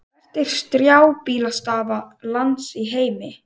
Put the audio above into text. Hvert er strjálbýlasta land í heimi?